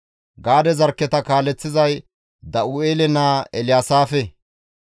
Gaade zarkketa kaaleththizay Da7u7eele naa Elyaasaafe.